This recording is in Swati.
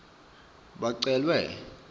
bacelwe